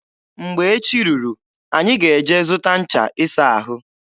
Mgbe echi ruru, anyị ga-eje zụta ncha ịsa ahụ.